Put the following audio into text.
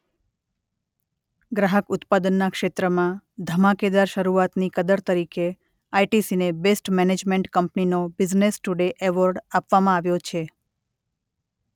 ગ્રાહક ઉત્પાદનના ક્ષેત્રમાં ધમાકેદાર શરૂઆતની કદર તરીકે આઇટીસીને બેસ્ટ મેનેજમેન્ટ કંપનીનો બિઝનેસ ટુડે એવોર્ડ આપવામાં આવ્યો છે.